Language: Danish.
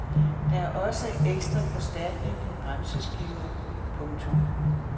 Det er også ekstra forstærkning af bremseskiver. punktum